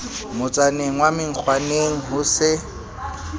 motsaneng wa menkgwaneng ho se